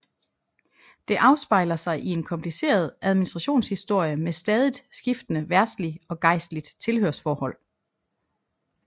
Det afspejler sig i en kompliceret administrationshistorie med stadigt skiftende verdsligt og gejstligt tilhørsforhold